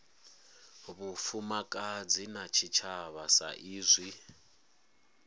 vhufumakadzi na tshitshavha sa izwi